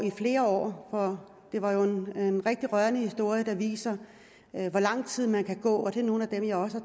i flere år det var jo en rigtig rørende historie som viser hvor lang tid man kan gå og til nogle af dem jeg har